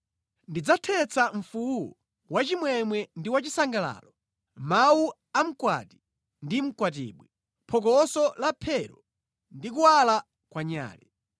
Ndidzathetsa mfuwu wachimwemwe ndi wachisangalalo, mawu a mkwati ndi mkwatibwi, phokoso la mphero ndi kuwala kwa nyale.